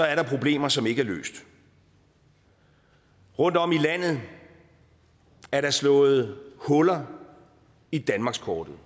er der problemer som ikke er løst rundtom i landet er der slået huller i danmarkskortet